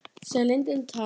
Sem lindin tær.